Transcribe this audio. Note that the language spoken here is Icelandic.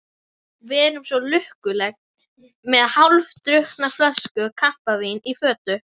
Við erum svo lukkuleg, með hálfdrukkna flösku kampavíns í fötu.